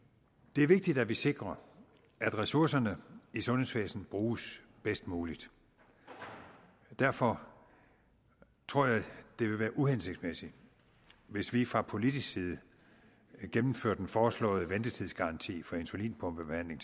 det er vigtigt at vi sikrer at ressourcerne i sundhedsvæsenet bruges bedst muligt derfor tror jeg det vil være uhensigtsmæssigt hvis vi fra politisk side gennemførte den foreslåede ventetidsgaranti for insulinpumpebehandling